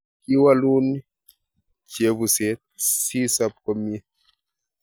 Kiwalun chebuset sisop komie